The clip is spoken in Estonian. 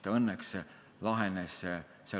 Ta õnneks lahenes päris hästi.